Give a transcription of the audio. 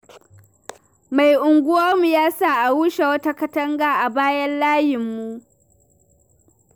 Mai unguwarmu ya sa a rushe wata katanga a bayan layinmu.